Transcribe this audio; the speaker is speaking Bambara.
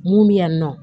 Mun bɛ yan nɔ